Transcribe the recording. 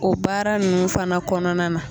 O baara nunnu fana kɔnɔna na.